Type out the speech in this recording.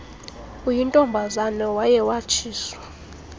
uyintombazana waye watshiswa